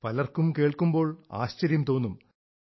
പലർക്കും കേൾക്കുമ്പോൾ ആശ്ചര്യം തോന്നും